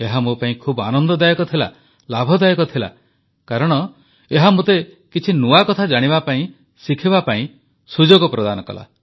ଏହା ମୋ ପାଇଁ ଖୁବ ଆନନ୍ଦଦାୟକ ଥିଲା ଲାଭଦାୟକ ଥିଲା କାରଣ ଏହା ମୋତେ କିଛି ନୂଆ କଥା ଜାଣିବା ପାଇଁ ଶିଖିବା ପାଇଁ ସୁଯୋଗ ପ୍ରଦାନ କଲା